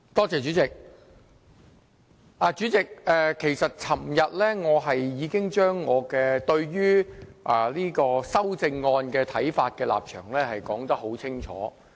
主席，我昨天已經把我對於修正案的看法、立場說得很清楚。